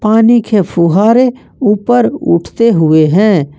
पानी के फुहारे ऊपर उठते हुए हैं।